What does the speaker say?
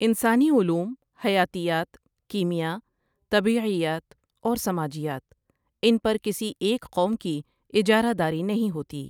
انسانی علوم حیاتیات، کیمیاء، طبیعیات اور سماجیات ان پر کسی ایک قوم کی اجارہ داری نہیں ہوتی۔